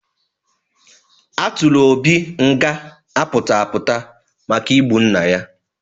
A tụrụ Obi nga apụta apụta maka igbu nna ya.